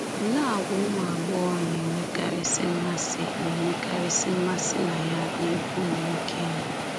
Olee àgwà ụmụ agbọghọ na-enwekarịsị mmasị na-enwekarịsị mmasị na ya n’ebe ụmụ nwoke nọ?